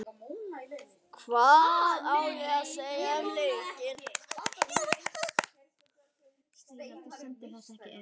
Hvað ég á að segja um leikinn?